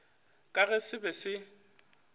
ka ge se be se